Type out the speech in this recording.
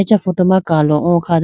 acha photo ma kalo o kha dane.